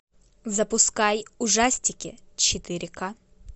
запускай ужастики четыре ка